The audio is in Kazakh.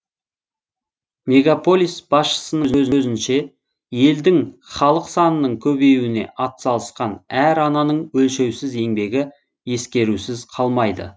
мегаполис басшысының сөзінше елдің халық санының көбеюіне атсалысқан әр ананың өлшеусіз еңбегі ескерусіз қалмайды